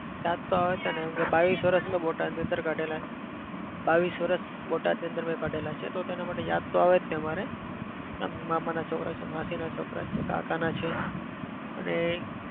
યાદ તો આવે જ ને. બાવીસ વર્ષ મેં બોટાદની અંદર કાઢેલા. બાવીસ વર્ષ બોટાદની અંદર મેં કાઢેલા છે તો તેના માટે યાદ તો આવે જ તે અમારે મામાના છોકરા છે, માસીના છોકરા છે, કાકાના છે અને